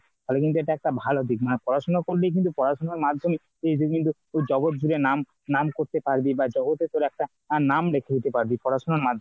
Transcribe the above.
ফলে কিন্তু একটা এটা ভালো দিক মানে পড়াশোনা করলেই কিন্তু পড়াশোনার মাধ্যমে তুই বিভিন্ন জগৎ জীবের নাম নাম করতে পারবি বা জগতে তোর একটা নাম দেখিয়ে দিতে পারবি পড়াশোনার মাধ্যমে।